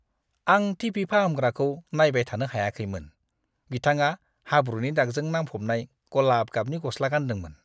आं T. V. फाहामग्राखौ नायबाय थानो हायाखैमोन। बिथाङा हाब्रुनि दागजों नांफबनाय गलाब गाबनि गस्ला गानदोंमोन।